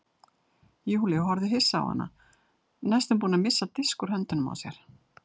Júlía horfði hissa á hana næstum búin að missa disk úr höndunum á sér.